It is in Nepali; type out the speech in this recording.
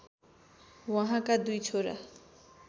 उहाँका दुई छोरा